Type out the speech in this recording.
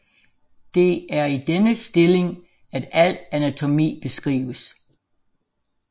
Det er i denne stilling at al anatomi beskrives